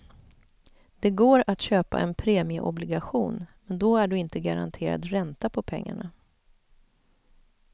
Det går att köpa en premieobligation, men då är du inte garanterad ränta på pengarna.